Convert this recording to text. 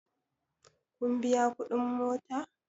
Kun biya kuɗin mota?